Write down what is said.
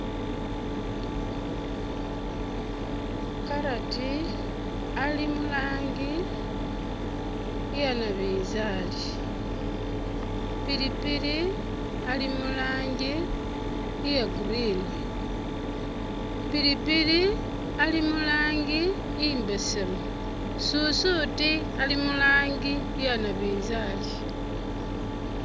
Carrot ali murangi iya nabinzali ,pilipili ali murangi iye green ,pilipili ali murangi imbesemu ,susuuti ali muranji iya nabinzali